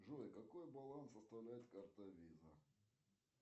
джой какой баланс составляет карта виза